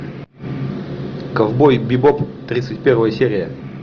ковбой бибоп тридцать первая серия